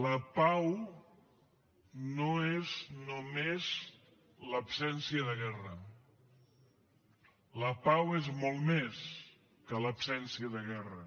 la pau no és només l’absència de guerra la pau és molt més que l’absència de guerra